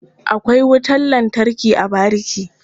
Akwai wutan lantarki a bariki.